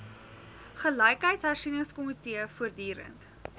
gelykheidshersie ningskomitee voortdurend